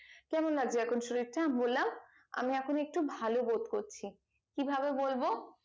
কেমন লাগছে এখন শরীরটা বললাম আমি এখন ভালো বোধ করছি কি ভাবে বলবো